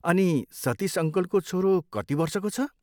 अनि, सतिस अङ्कलको छोरो कति वर्षको छ?